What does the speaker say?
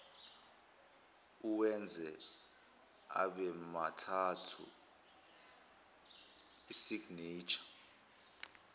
uwenze abemathathu isignesha